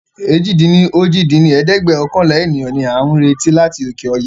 èjì-dín-ní-ojì dín ní ẹ̀ẹ́dẹ́gbẹ́ọ̀kànlá ènìyàn ni a ń retí láti òkè ọya